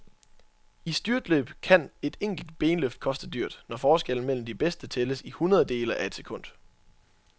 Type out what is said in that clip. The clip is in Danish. I styrtløb kan et enkelt benløft koste dyrt, når forskellen mellem de bedste tælles i hundrededele af et sekund.